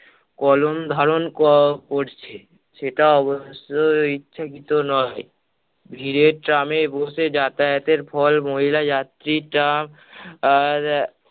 কলম ধারণ ক~ করছে। সেটা অবশ্য ইচ্ছাকৃত নয়। ভিড়ে trum এ বসে যাতায়াতের ফল মহিলা যাত্রীর চাপ, আর~